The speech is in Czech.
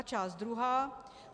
A část druhá.